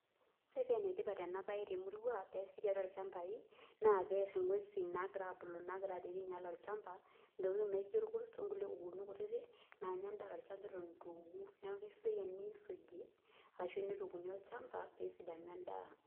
Ore paa enetipat ena bae temurua pee easi tiatua ilchambai naa peyie ear inguesin naagira ainyial olchamba. Intokitin naijio irkurt okulie tokitin kuti naagira ainyial olchamba eton eitu eku. Neaku esidai teneisuji ashu teneitukuuni olchamba pee esidanu endaa